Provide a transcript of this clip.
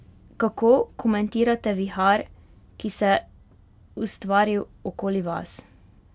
Kako komentirate vihar, ki se ustvaril okoli vas?